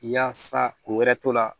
Yaasa ko wɛrɛ to la